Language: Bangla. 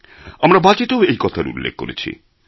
আমরা বাজেটেও এই কথার উল্লেখ করেছি